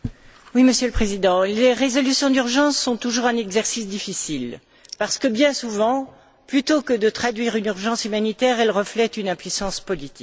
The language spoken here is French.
Monsieur le Président, les résolutions d'urgence sont toujours un exercice difficile parce que, bien souvent, plutôt que de traduire une urgence humanitaire, elles reflètent une impuissance politique.